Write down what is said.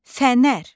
Fənər.